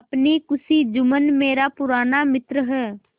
अपनी खुशी जुम्मन मेरा पुराना मित्र है